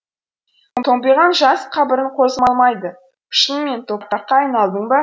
томпиған жас қабірің қозғалмайды шынымен топыраққа айналдың ба